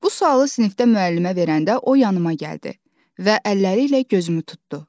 Bu sualı sinifdə müəllimə verəndə o yanıma gəldi və əlləri ilə gözümü tutdu.